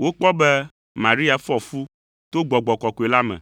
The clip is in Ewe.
wokpɔ be Maria fɔ fu to Gbɔgbɔ Kɔkɔe la me.